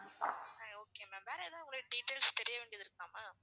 சரி okay ma'am வேற ஏதாவது உங்களுக்கு details தெரிய வேண்டியது இருக்கா ma'am